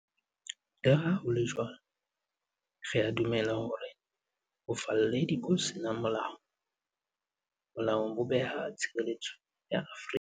Le ha ho le jwalo, re a dumela hore bofalledi bo seng molaong bo beha tshireletso ya Afrika.